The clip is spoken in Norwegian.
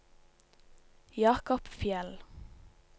Jakob Fjeld